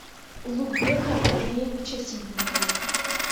улугбека андреевича ситникова